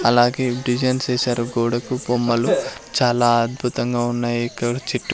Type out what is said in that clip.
అలాగే డిజైన్స్ ఏసారు గోడకు బొమ్మలు చాలా అద్భుతంగా ఉన్నాయి ఇక్కడ చెట్టు--